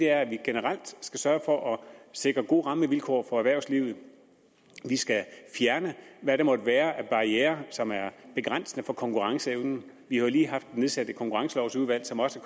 er at vi generelt skal sørge for at sikre gode rammevilkår for erhvervslivet at vi skal fjerne hvad der måtte være af barrierer som er begrænsende for konkurrenceevnen vi har jo lige haft nedsat et konkurrencelovudvalg som også